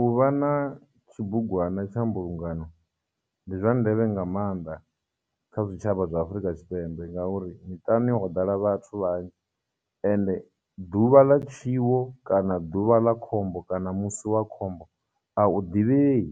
Uvha na tshibugwana tsha mbulungano ndi zwa ndeme nga maanḓa kha zwitshavha zwi Afurika Tshipembe, ngauri miṱani ho ḓala vhathu vhanzhi ende ḓuvha ḽa tshiwo, kana ḓuvha ḽa khombo, kana musi wa khombo, a u ḓivhei.